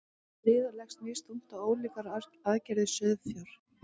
riða leggst misþungt á ólíkar arfgerðir sauðfjár